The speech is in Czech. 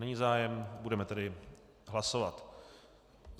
Není zájem, budeme tedy hlasovat.